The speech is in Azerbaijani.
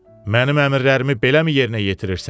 Mənim əmrlərimi beləmi yerinə yetirirsən?